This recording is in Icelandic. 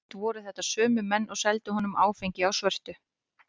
Oft voru þetta sömu menn og seldu honum áfengi á svörtu.